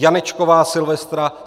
Janečková Silvestra